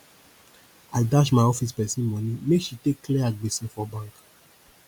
i dash my office pesin moni make she take clear her gbese for bank